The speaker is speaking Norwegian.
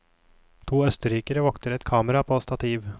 To østerrikere vokter et kamera på stativ.